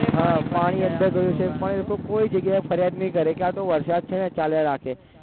હા પાણી અંદર જાય છે પણ એ તો ફરિયાદ નહીં કરે કે આતો વરસાદ છે ને ચાલ્યા રાખે